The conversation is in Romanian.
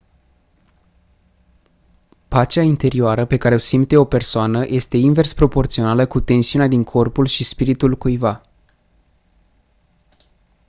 pacea interioară pe care o simte o persoană este invers proporțională cu tensiunea din corpul și spiritul cuiva